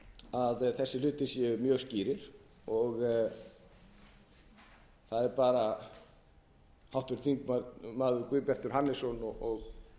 að þessir hlutir séu mjög skýrir og það er bara háttvirtir þingmenn guðbjartur hannesson og